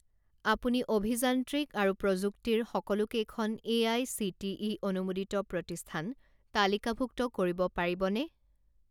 আপুনি অভিযান্ত্ৰিক আৰু প্ৰযুক্তি ৰ সকলোকেইখন এআইচিটিই অনুমোদিত প্ৰতিষ্ঠান তালিকাভুক্ত কৰিব পাৰিবনে?